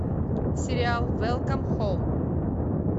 сериал велкам хом